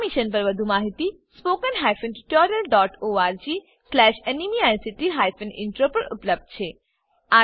આ મિશન પર વધુ માહિતી spoken tutorialorgnmeict ઇન્ટ્રો પર ઉપલબ્ધ છે